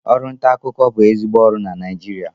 Ọrụ nta akụkọ ka bụ ezigbo ọrụ na Naịjirịa